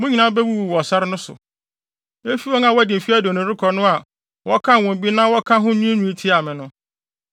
Mo nyinaa mubewuwu wɔ sare no so: Efi wɔn a wɔadi mfe aduonu rekɔ no a wɔkan wɔn bi na wɔka ho nwiinwii tiaa me no.